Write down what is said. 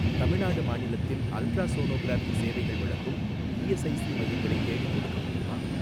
தமிழ்நாடு மாநிலத்தில் அல்ட்ராசோனோகிராஃபி சேவைகள் வழங்கும் இஎஸ்ஐஸி மையங்களை தேடிக்கொடுக்க முடியுமா?